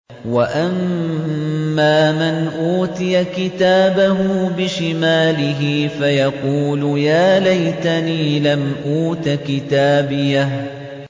وَأَمَّا مَنْ أُوتِيَ كِتَابَهُ بِشِمَالِهِ فَيَقُولُ يَا لَيْتَنِي لَمْ أُوتَ كِتَابِيَهْ